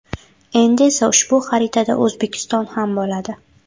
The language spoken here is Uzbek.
Endi esa ushbu xaritada O‘zbekiston ham bo‘ladi.